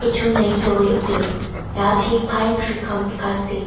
tu naisory ase yatey pine tree khan bikaise.